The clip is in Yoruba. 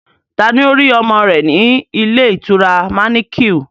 Taa ni ó rí ọmọ rẹ̀ ní ilé ìtura manequal?